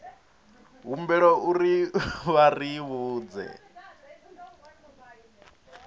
humbelwa uri vha ri vhudze